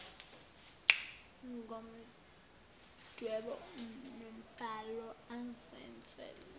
ngomdwebo nombhalo azenzele